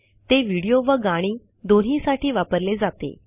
ते व्हिडीओ व गाणी दोन्हीसाठी वापरले जाते